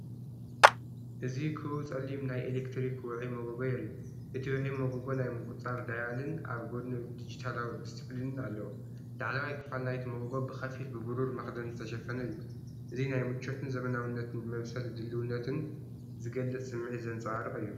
እዚ ክቡብ ጸሊም ናይ ኤሌክትሪክ ውዑይ ሞጎጎ የርኢ። እቲ ውዑይ ሞጎጎ ናይ ምቁጽጻር ዳያልን ኣብ ጎድኑ ዲጂታላዊ ድስፕሊንን ኣለዎ። ላዕለዋይ ክፋል ናይቲ ሞጎጎ ብኸፊል ብብሩር መኽደኒ ዝተሸፈነ እዩ። እዚ ናይ ምቾትን ዘመናዊነትን ንመብሰሊ ድልውነትን ዝገልጽ ስምዒት ዘንጸባርቕ እዩ።